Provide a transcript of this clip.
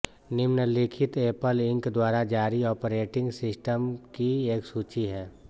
निम्नलिखित Apple Inc द्वारा जारी ऑपरेटिंग सिस्टम की एक सूची है